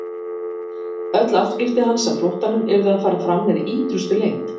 Öll afskipti hans af flóttanum yrðu að fara fram með ítrustu leynd.